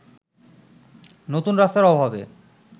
নতুন রাস্তার অভাবে